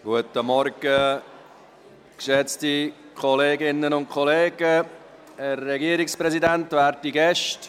Guten Morgen, geschätzte Kolleginnen und Kollegen, Herr Regierungspräsident, werte Gäste.